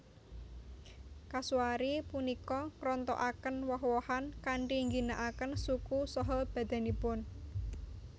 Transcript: Kasuari punika ngrontokaken woh wohan kanthi ngginakaken suku saha badanipun